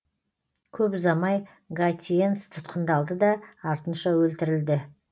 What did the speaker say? көп ұзамай гатьенс тұтқындалды да артынша өлтірілді